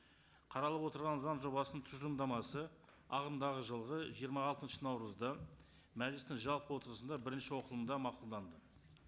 қаралып отырған заң жобасының тұжырымдамасы ағымдағы жылғы жиырма алтыншы наурызда мәжілістің жалпы отырысында бірінші оқылымда мақұлданды